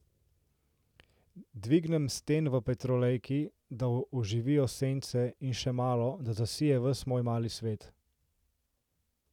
Dvignem stenj v petrolejki, da oživijo sence, in še malo, da zasije ves moj mali svet.